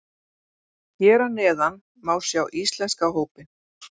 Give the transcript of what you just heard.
Hér að neðan má sjá íslenska hópinn.